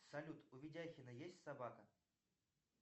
салют у видяхина есть собака